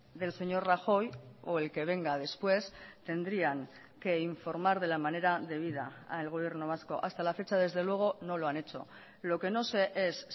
del señor rajoy o el que venga después tendrían que informar de la manera debida al gobierno vasco hasta la fecha desde luego no lo han hecho lo que no sé es